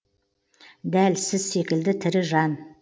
дәл сіз секілді тірі жан